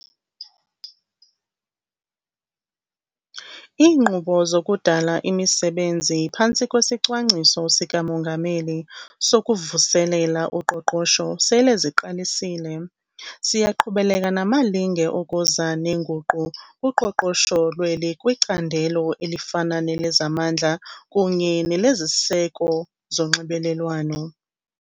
Iinkqubo zokudala imisebenzi phantsi kwesiCwangciso sikaMongameli sokuVuselela uQoqosho sele ziqalisile. Siyaqhubeleka namalinge okuza neenguqu kuqoqosho lweli kwicandelo elifana nelezamandla kunye neleziseko zonxibelelwano.